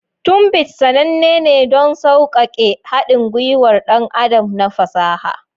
Tunbit sananne ne don sauƙaƙe haɗin gwiwar ɗan adam na fasaha.